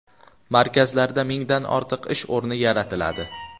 Markazlarda mingdan ortiq ish o‘rni yaratiladi.